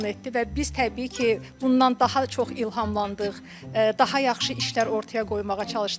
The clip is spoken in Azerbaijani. Və biz təbii ki, bundan daha çox ilhamlandıq, daha yaxşı işlər ortaya qoymağa çalışdıq.